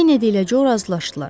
Kennedy ilə Co razılaşdılar.